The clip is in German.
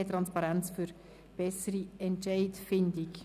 Mehr Transparenz für bessere Entscheidfindung».